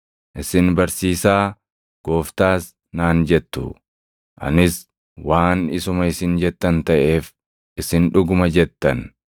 Isin, ‘Barsiisaa’, ‘Gooftaas’ naan jettu; anis waan isuma isin jettan taʼeef isin dhuguma jettan.